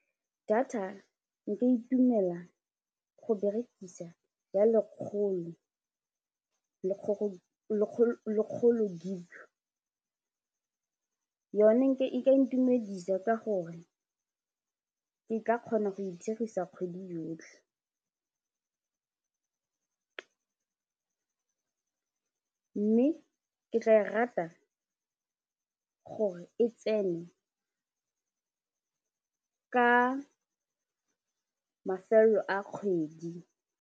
Data nka itumela go berekisa ya lekgolo lekgolo GIG yone e ka intumedisa ka gore ke ka kgona go e dirisa kgwedi yotlhe mme ke tla e rata gore e tsene ka mafelo a kgwedi.